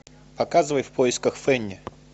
показывай в поисках фэнни